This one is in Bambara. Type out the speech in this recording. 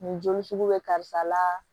Nin joli sugu bɛ karisa la